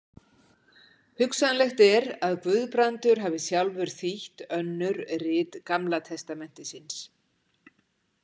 Hugsanlegt er að Guðbrandur hafi sjálfur þýtt önnur rit Gamla testamentisins.